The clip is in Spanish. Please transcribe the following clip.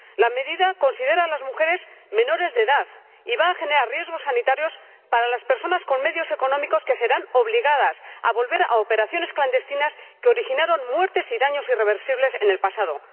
La medida considera a las mujeres menores de edad y va a generar riesgos sanitarios para las personas con pocos medios económicos, que se verán obligadas a volver a operaciones clandestinas que originaron muertes y daños irreversibles en el pasado.